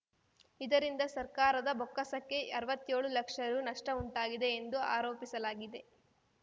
ಇದರಿಂದ ಸರ್ಕಾರದ ಬೊಕ್ಕಸಕ್ಕೆ ಅರ್ವತ್ಯೋಳು ಲಕ್ಷ ರು ನಷ್ಟಉಂಟಾಗಿದೆ ಎಂದು ಆರೋಪಿಸಲಾಗಿದೆ